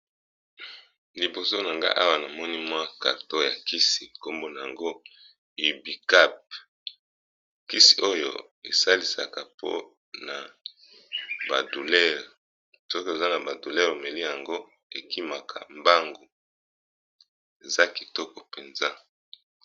Liboso na nga awa na moni mwa carton ya kisi nkombo nango ibucap, kisi oyo esalisaka mpona ba douleur soki oza na ba douleur omeli yango ekimaka mbangu eza kitoko mpenza.